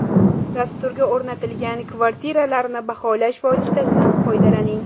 Dasturga o‘rnatilgan kvartiralarni baholash vositasidan foydalaning.